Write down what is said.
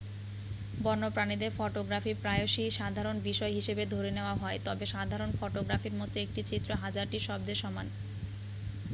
বন্যপ্রাণীদের photography প্রায়শই সাধারণ বিষয় হিসাবে ধরে নেওয়া হয় তবে সাধারণ ফটোগ্রাফির মতো একটি চিত্র হাজারটি শব্দের সমান